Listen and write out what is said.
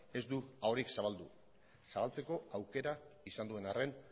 ez du ahorik zabaldu zabaltzeko aukera izan duen arren